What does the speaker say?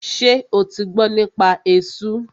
Ṣo ti gbọ́ nípa esú?